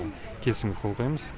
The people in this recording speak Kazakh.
келісімге қол қоямыз